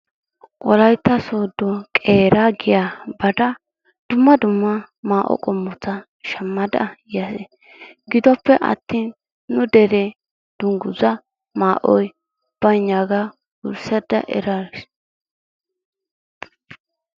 Wolaytta soodo qeeraa giyaa baada dumma dumma maayo qoommota shaammada yaas. gidoppe attin nu deree dunguzaa maayoy baynnaagaa wurssada eraas.